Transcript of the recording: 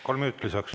Kolm minutit lisaks.